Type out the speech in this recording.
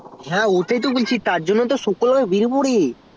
ও সেটাই তো বলছি তারজন্নই শুকালো করে বেরোবো